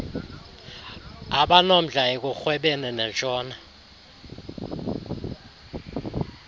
abanomdla ekurhwebeni nentshona